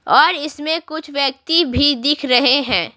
और इसमें कुछ व्यक्ति भी दिख रहे हैं।